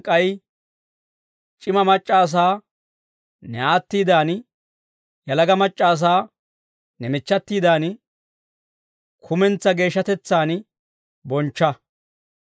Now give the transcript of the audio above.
k'ay c'ima mac'c'a asaa ne aattiidan, yalaga mac'c'a asaa ne michchatiidan, kumentsaa geeshshatetsaan bonchcha.